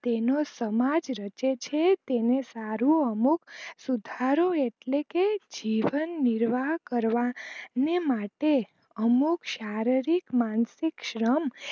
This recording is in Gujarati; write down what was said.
તેનો સમાજ રચે છે તેને સારું અમુક સુધારો એટ્લે કે જીવન નિર્વાહ કરવા ને માટે અમુક શારીરિક માનસિક શ્રમ